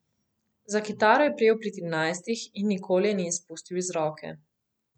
Za kitaro je prijel pri trinajstih in je ni nikoli izpustil iz roke.